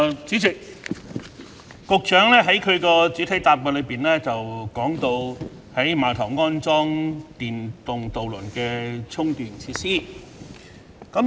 主席，局長在主體答覆中提到，在碼頭安裝電動渡輪的充電設施。